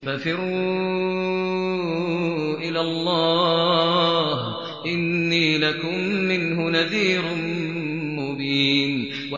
فَفِرُّوا إِلَى اللَّهِ ۖ إِنِّي لَكُم مِّنْهُ نَذِيرٌ مُّبِينٌ